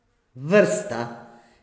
Vrsta!